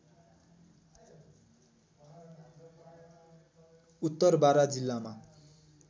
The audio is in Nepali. उत्तर बारा जिल्लामा